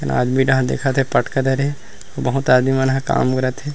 आदमी राह देखत हे पटका धरे बहुत आदमी मन हा काम करत हे।